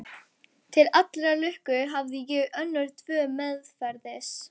Til allrar lukku hafði ég önnur tvö meðferðis.